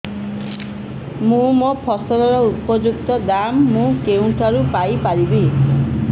ମୋ ଫସଲର ଉପଯୁକ୍ତ ଦାମ୍ ମୁଁ କେଉଁଠାରୁ ପାଇ ପାରିବି